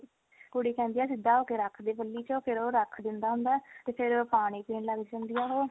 ਕੁੜੀ ਕਹਿੰਦੀ ਆ ਸਿੱਧਾ ਹੋਕੇ ਰੱਖ ਦੇ ਪੱਲੀ ਚੋਂ ਫਿਰ ਉਹ ਰੱਖ ਦਿੰਦਾ ਹੁੰਦਾ ਤੇ ਫਿਰ ਉਹ ਪਾਣੀ ਪੀਣ ਲੱਗ ਜਾਂਦੀ ਹੁੰਦੀ ਆ ਉਹ